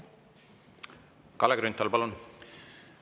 Kalle Grünthal, palun!